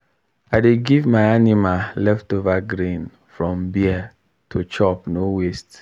i dey give my animal leftover grain from beer to chop no waste.